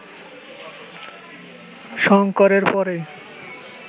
শঙ্করের পরেই